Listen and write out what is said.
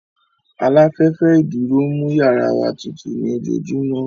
Aláfẹ́fẹ́ ìdúró ń mú yàrá wa tutù ní ojoojúmọ́